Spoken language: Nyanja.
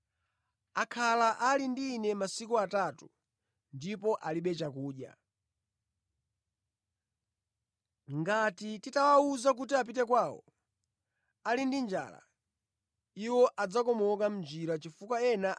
Ngati nditawawuza kuti apite kwawo ali ndi njala, iwo adzakomoka mʼnjira chifukwa ena a iwo achokera kutali.”